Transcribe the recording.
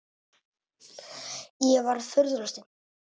Ég var furðu lostin.